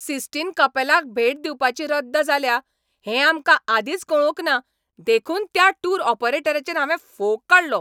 cysteine कपेलाक भेट दिवपाची रद्द जाल्या हें आमकां आदींच कळोवंकना देखून त्या टूर ऑपरेटचेर हांवें फोग काडलो